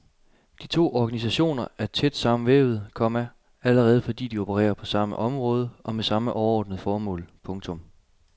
De to organisationer er tæt sammenvævede, komma allerede fordi de opererer på samme område og med samme overordnede formål. punktum